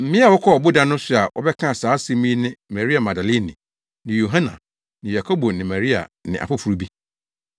Mmea a wɔkɔɔ ɔboda no so a wɔbɛkaa saa asɛm yi ne Maria Magdalene ne Yohana ne Yakobo na Maria ne afoforo bi.